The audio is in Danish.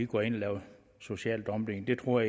går ind og laver social dumping det tror